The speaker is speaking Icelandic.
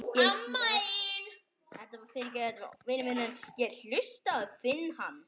Ég hlaut að finna hana.